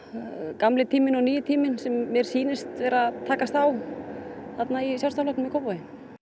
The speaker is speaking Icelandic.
gamli tíminn og nýi tíminn sem mér sýnist vera að takast á í Sjálfstæðisflokknum í Kópavogi